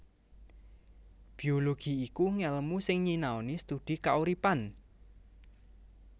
Biologi iku ngèlmu sing nyinaoni studi kauripan